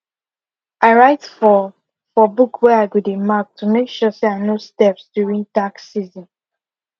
i write for for book where i go dey mark to make sure say i no steps during tax season